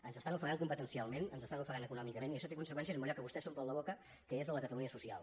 ens ofeguen competencialment ens ofeguen econòmicament i això té conseqüències en allò amb què vostès s’omplen la boca que és la catalunya social